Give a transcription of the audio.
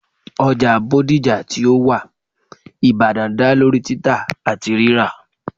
oja bodija ti o wa ibadan da lori tita ati rira